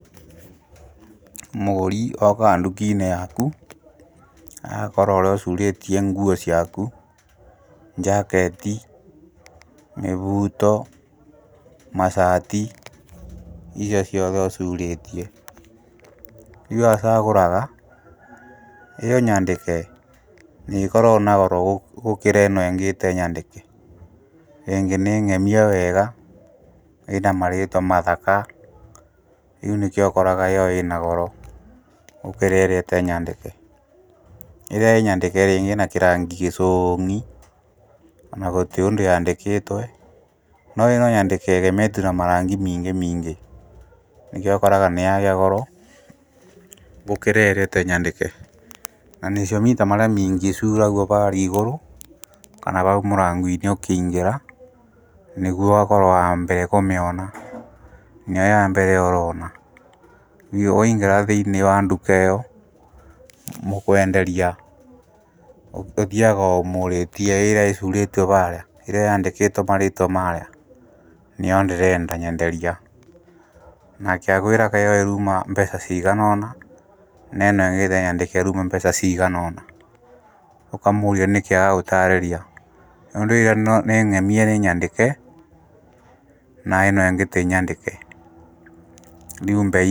Mũgũri ookaga nduki-inĩ yaku, agakora urĩa ũcuurĩtie nguo ciaku njaketi, mĩbuto mashati, icio ciothe ũcurĩtie rĩu acagũraga, ĩyo nyandĩke nĩĩkoragwo na goro gũkĩra ĩno ĩngĩ ĩtee nyandĩke, ĩngĩ nĩ ng’emie wega, ĩna marĩtwa mathaka, rĩu nĩkĩo ũkoraga ĩyo ĩna goro gũkĩra ĩrĩa ĩtarĩ nyandĩke ĩrĩa ĩ nyandĩke ĩĩna kĩrangi gĩcoong’i ona gũtĩtrĩ ũndũ yandĩkĩtwe no no ono yandĩkĩtwe ne ĩgemetwe na maranfĩ miingĩ miingi, nĩkĩo ũkoraga nĩyagĩa goro gũkira ĩria ĩtarĩ nyandĩke ,na nicio mĩta marĩa maingĩ icuuragio varĩa igũrũ kana vau mũrango-inĩ ũkĩingĩra nĩguo ũgakorwo wambere kũmĩona nĩyo yambere ũroona naguo waingĩra thĩini wa ndukaĩyo mũkwenderia, ũthiaga ũmũrĩtiĩ ĩrĩa ĩcuurĩtio varĩa, ĩrĩa yandĩkĩtwo marĩtwa marĩa, nĩyo ndĩrenda nyenderia, nake akwĩraga ĩyo yuumaga mbeca ciiganona, nerĩa ĩtarĩ nyandĩke ĩruma mbeca ciiganona, ũkamũũria nĩkĩ agagũtarĩria. Tondũ ĩrĩa nĩ ng’emie nĩ nyandĩke na ĩno ĩngĩ tĩ nyandĩke....